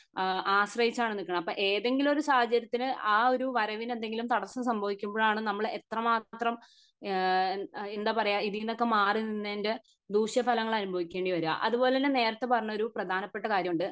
അഹ് ആശ്രയിച്ചാണ് നിക്കുന്നെ അപ്പൊ ഏതെങ്കിലും ഒരു സാഹചര്യത്തിന്ന് ആ ഒരു വരവിന് എന്തെങ്കിലും തടസ്സം സംഭവിക്കുമ്പോഴാണ് നമ്മൾ എത്ര മാത്രം ഏഹ് എന്താ പറയെ ഇതീനൊക്കെ മാറി നിന്നതിൻ്റെ ദൂഷ്യ ഫലങ്ങൾ അനുഭവിക്കേണ്ടി വരെ അതുപോലതന്നെ നേരത്തെ പറഞ്ഞൊരു പ്രധാനപ്പെട്ട കാര്യം ഉണ്ട്